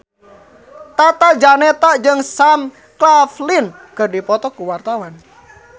Tata Janeta jeung Sam Claflin keur dipoto ku wartawan